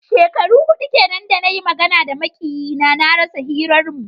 Shekaru hudu kenan da na yi magana da makiyina, na rasa hirarmu.